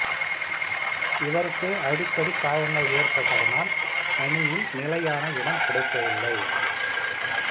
இவருக்கு அடிக்கடி காயங்கள் ஏற்பட்டதனால் அணியில் நிலையான இடம் கிடைக்கவில்லை